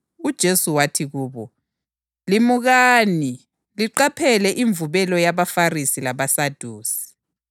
UJesu wathi kubo, “Limukani. Liqaphele imvubelo yabaFarisi labaSadusi.”